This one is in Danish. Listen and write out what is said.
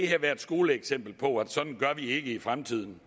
her være et skoleeksempel på at sådan gør vi ikke i fremtiden